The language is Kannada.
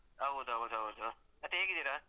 ಹೌದೌದು ಹೌದು. ಮತ್ತೆ ಹೇಗಿದ್ದಿರಾ?